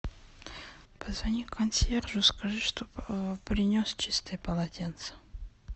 позвони консьержу скажи чтобы принес чистые полотенца